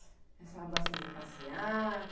E a senhora gosta de passear?